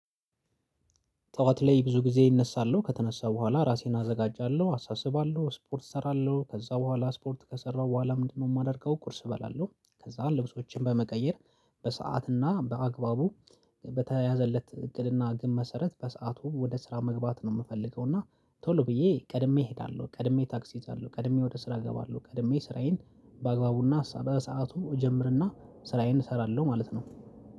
ጠዋት ላይ ብዙ ጊዜ ይነሳለሁ ከተነሳ በኋላ ራሴን አዘጋጃለሁ አሳስባለሁ ስፖርት እሰራለሁ ከዛ በኋላ ስፖርት ከሰራሁ በኋላ ምንድነው የማደርገው ቁርስ እበላለሁ። ከዛ ልብሶችን በመቀየር በሰአትና በአግባቡ በተያዘለት እቅድና ግን መሰረት በሰአቱ ወደ ስራ መግባት ነው የምፈልገው እና ቶሎ ብዬ ቀድሜ እሄዳለሁ ቀድሜ ታክስ እሄዳለሁ ቀድሜ ወደ ስራ እገባለሁ። ቀድሜ ስራዬን በአግባቡና በሰአቱ እጀምርና ስራዬን እሰራለሁ ማለት ነው።